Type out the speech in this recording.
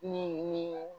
Ni min ye